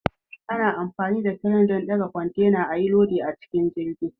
Ana amfani da crane don ɗaga kwantena ayi lodi a cikin jirgi.